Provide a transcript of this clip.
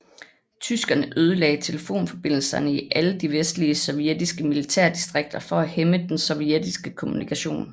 Tyskerne ødelagde telefonforbindelserne i alle de vestlige sovjetiske militærdistrikter for at hæmme den sovjetiske kommunikation